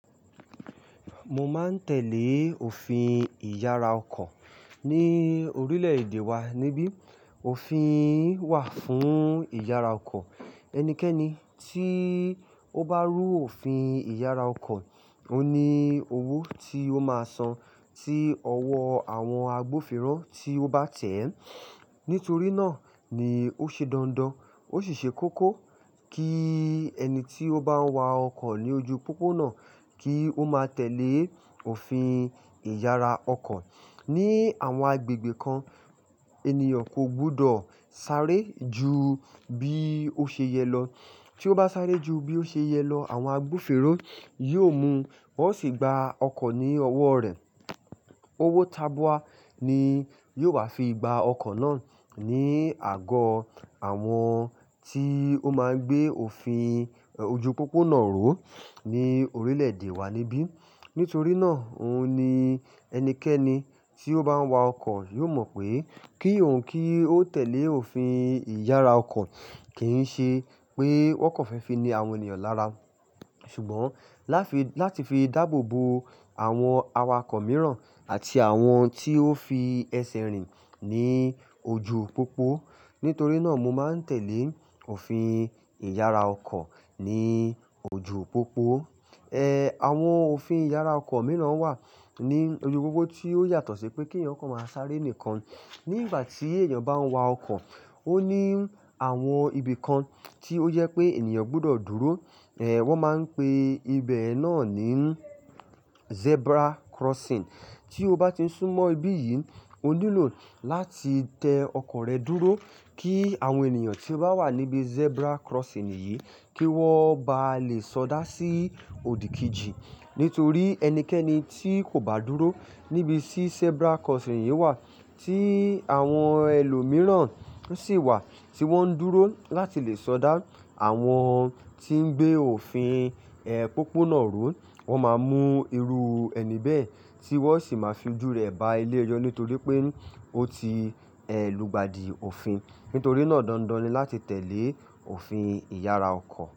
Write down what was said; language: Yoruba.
Mo máa ń tẹ̀lé òfin ìyára ọkọ̀ ní orílẹ̀-èdè wa níbí. Òfin wà fún ìyára ọkọ̀. Ẹnikẹ́ni tí ó bá rú òfin ìyára ọkọ̀, òo ni owó tí ó máa san tí ọwọ́ àwọn agbófinró tí ó bá tẹ̀ ẹ́. Nítorí náà ni ó ṣe dandan, ó sì ṣe kókó kí ẹni tí ó bá ń wa ọkọ̀ ní ojú pópó náà kí ó máa tẹ̀lé òfin ìyára ọkọ̀. Ni àwọn agbègbè kan, ènìyàn kò gbọdọ̀ sáré ju bí ó ṣe yẹ lọ. Tí ó bá sáré ju bí ó ṣe yẹ lọ, àwọn agbófinró yóò mú, wọ́n ó sì gba ọkọ̀ ní ọwọ́ rẹ̀. Owó tabua ni yóò wà fi gba ọkọ̀ náà ní àgọ́ àwọn tí ó máa ń gbé òfin ojú pópó náà ró ní orílẹ̀-èdè wa níbí. Nítorí náà, òun ni ẹnikẹ́ni tí ó bá ń wa ọkọ̀ yóò mọ̀ pé kí òun kí ó tẹ̀lé òfin ìyára ọkọ̀ kì ń ṣe pé wọ́n kàn fẹ́ fi ni àwọn ènìyàn lára. Ṣùgbọ́n láfi-- láti fi dáàbò bo àwọn awakọ̀ mìíràn àti àwọn tí ó fi ẹsẹ̀ rìn ní ojú pópó. Nítorí náà mo máa ń tẹ̀lé òfin ìyára ọkọ̀ ní ojú pópó. Eh, àwọn òfin ìyára ọkọ̀ mìíràn wà ní ojú pópó tí ó yàtọ̀ sí pé kí ènìyàn kọ̀ máa sáré nìkan. Ní ìgbà tí ènìyàn bá ń wa ọkọ̀, ó ní àwọn ibi kan tí ó jẹ pé ènìyàn gbọdọ̀ dúró. Eh, wọ́n máa ń pe ibẹ̀ náà ní zebra crossing. Tí o bá ti sún mọ́ ibí yìí, o nílò láti tẹ ọkọ̀ rẹ dúró kí àwọn ènìyàn tí ó bá wà níbi zebra crossing yìí kí wọ́n bá lè sọdá sí òdì kejì. Nítorí ẹnikẹ́ni tí kò bá dúró níbi tí zebra crossing yìí wà tí àwọn ẹlòmíràn sì wà tí wọ́n ń dúró láti lè sọdá, àwọn tí ń gbé òfin, eh, pópó náà ró, wọ́n máa mú irú ẹni bẹ́ẹ̀ tí wọ́n sì máa fi jú rẹ̀ ba ilé ẹjọ́ nítorí pé ó ti, ẹ, lu gba di òfin. Nítorí náà dandan ni láti tẹ̀lé òfin ìyára ọkọ̀.